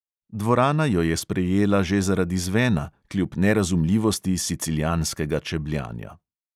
Dvorana jo je sprejela že zaradi zvena, kljub nerazumljivosti siciljanskega čebljanja.